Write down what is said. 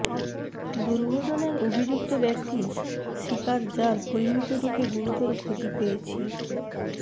দুর্ঘটনার অভিযুক্ত ব্যক্তি শিকার যার পরিমিতরূপে গুরুতর ক্ষতি পেয়েছি